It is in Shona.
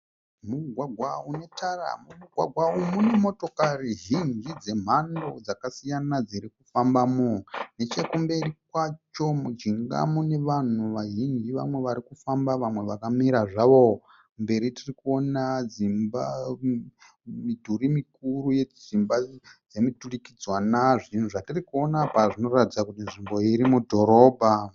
Mugwagwa unetara. Mumugwagwa umu mune motokari zhinji dzemhando dzakasiyana dziri kufambamo. Nechekumberi kwacho mujinga mune vanhu vazhinji vamwe vari kufamba vamwe vakamira zvavo. Mberi tirikuona dzimba midhuri mikuru yedzimba dzemuturikidzanwa. Zvinhu zvatirikuona apa zvinoratidza kuti nzvimbo iyi iri mudhorobha.